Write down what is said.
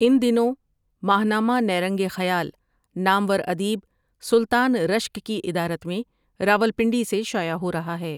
ان دنوں ماہ نامہ نیرنگ خیال نامور ادیب سلطان رشک کی ادارت میں راول پنڈی سے شائع ہو رہا ہے ۔